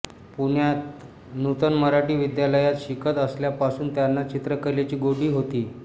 पुण्यात नूतन मराठी विद्यालयात शिकत असल्यापासून त्यांना चित्रकलेची गोडी होती